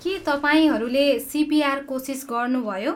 के तपाईँहरूले सिपिआर कोसिस गर्नुभयो?